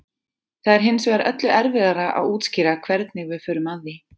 það er hins vegar öllu erfiðara að útskýra hvernig við förum að því